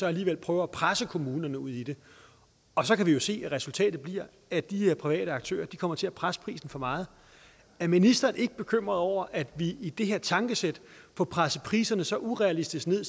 alligevel prøver at presse kommunerne ud i det og så kan vi jo se at resultatet bliver at de private aktører kommer til at presse prisen for meget er ministeren ikke bekymret over at vi i det her tankesæt får presset priserne så urealistisk ned